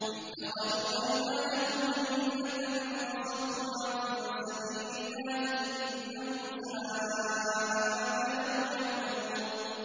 اتَّخَذُوا أَيْمَانَهُمْ جُنَّةً فَصَدُّوا عَن سَبِيلِ اللَّهِ ۚ إِنَّهُمْ سَاءَ مَا كَانُوا يَعْمَلُونَ